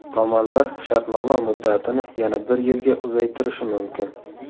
Tomonlar shartnoma muddatini yana bir yilga uzaytirishi mumkin.